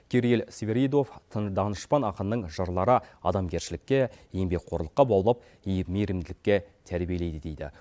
кирилл свиридов тын данышпан ақынның жырлары адамгершілікке еңбекқорлыққа баулап мейірімділікке тәрбиелейді дейді